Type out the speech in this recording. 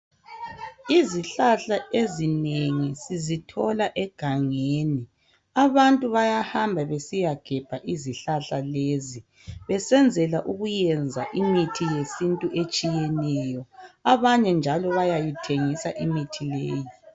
Izihlahla ezinengi sizithola egangeni. Abantu bayahamba besiyagebha izihlahla lezi besenzela ukuyenza imithi yesintu etshiyeneyo abanye njalo bayayithengisa imithi leyo